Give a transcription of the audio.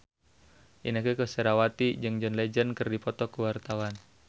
Inneke Koesherawati jeung John Legend keur dipoto ku wartawan